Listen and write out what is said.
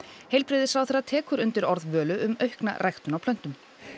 heilbrigðisráðherra tekur undir orð Völu um aukna ræktun á plöntum